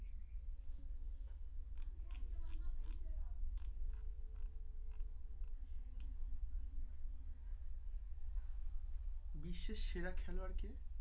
বিশ্বের সেরা খেলোয়ার কে?